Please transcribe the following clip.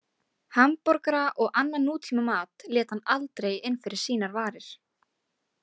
Hamborgara og annan nútímamat lét hann aldrei inn fyrir sínar varir.